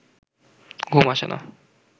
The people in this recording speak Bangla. ঘুম আসে না